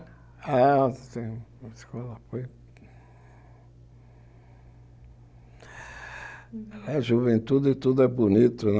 É, a escola foi... A juventude tudo é bonito, né?